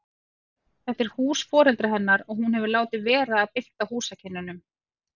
Þetta er hús foreldra hennar og hún hefur látið vera að bylta húsakynnum.